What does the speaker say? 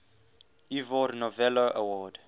ivor novello award